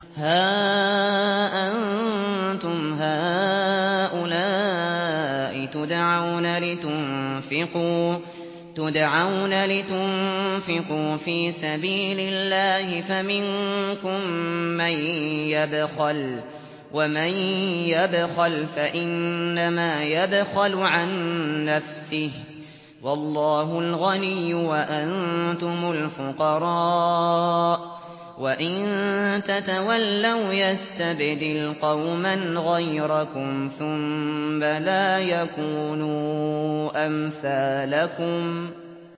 هَا أَنتُمْ هَٰؤُلَاءِ تُدْعَوْنَ لِتُنفِقُوا فِي سَبِيلِ اللَّهِ فَمِنكُم مَّن يَبْخَلُ ۖ وَمَن يَبْخَلْ فَإِنَّمَا يَبْخَلُ عَن نَّفْسِهِ ۚ وَاللَّهُ الْغَنِيُّ وَأَنتُمُ الْفُقَرَاءُ ۚ وَإِن تَتَوَلَّوْا يَسْتَبْدِلْ قَوْمًا غَيْرَكُمْ ثُمَّ لَا يَكُونُوا أَمْثَالَكُم